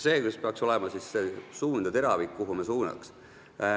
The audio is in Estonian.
See peaks olema see suund, kuhu teravik tuleks suunata.